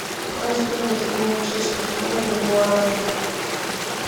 какая стоимость обмена чешской кроны на гуарани